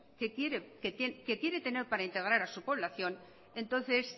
que quiere tener para integrar a su población entonces